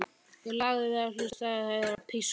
Ég lagði við hlustir og heyrði pískur.